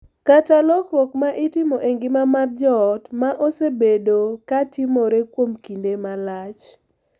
Kata lokruok ma itimo e ngima mar joot ma osebedo ka timore kuom kinde malach.